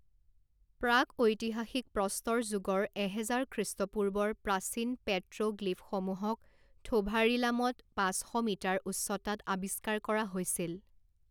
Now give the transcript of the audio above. প্ৰাক ঐতিহাসিক প্ৰস্তৰ যুগৰ এহেজাৰ খৃষ্টপূৰ্বৰ প্ৰাচীন পেট্ৰ'গ্লিফসমূহক থোভাৰিমালাত পাঁচ শ মিটাৰ উচ্চতাত আবিষ্কাৰ কৰা হৈছিল।